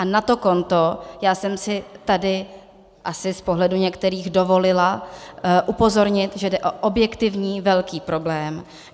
A na to konto já jsem si tady asi z pohledu některých dovolila upozornit, že jde o objektivní velký problém.